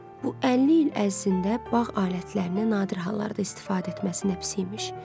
Bu 50 il ərzində bağ alətlərinə nadir hallarda istifadə etməsinə pis imiş.